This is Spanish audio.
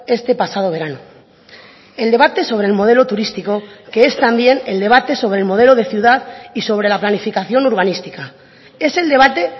este pasado verano el debate sobre el modelo turístico que es también el debate sobre el modelo de ciudad y sobre la planificación urbanística es el debate